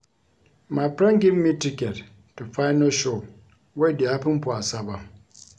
My friend give me ticket to Phyno show wey dey happen for Asaba